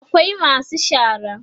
akwai masu shara